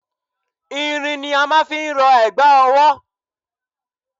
Irin ni a máà ń fi rọ ẹ̀gbà ọwọ́.